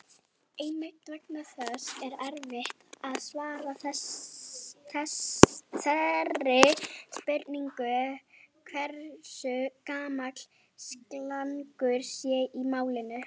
Einmitt vegna þess er erfitt að svara þeirri spurningu hversu gamalt slangur sé í málinu.